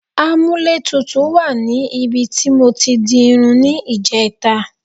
A múlẹ̀ tútù wà ní ibi tí mọ tí di irun ni ìjẹẹ̀ta.